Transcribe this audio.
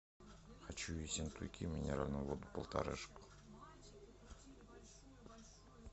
хочу ессентуки минеральную воду полторашку